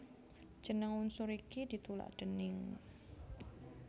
Jeneng unsur iki ditulak déning